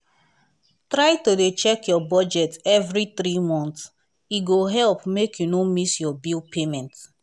try to dey check your budget every three month e go help make you no miss your bill payment.